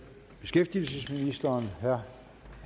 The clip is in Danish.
her